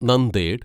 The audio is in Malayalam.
നന്ദേഡ്